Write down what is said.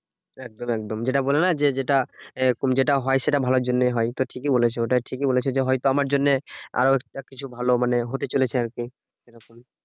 একদম একদম যেটা বললে না যে, যেটা এ যেটা হয় সেটা ভালোর জন্যই হয়। তো ঠিকই বলেছো ওটা ঠিকই বলেছো। যে হয়তো আমার জন্যে আরো একটা কিছু ভালো মানে হতে চলেছে আরকি সেরকমই।